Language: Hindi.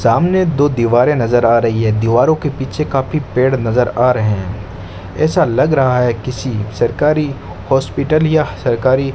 सामने दो दीवारे नजर आ रही है दीवारों के पीछे काफी पेड़ नजर आ रहे हैं ऐसा लग रहा है किसी सरकारी हॉस्पिटल या सरकारी --